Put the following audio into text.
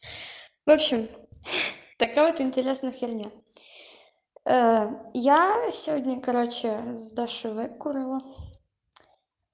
в общем хи-хи такая интересная херня я сегодня короче с дашей выкурила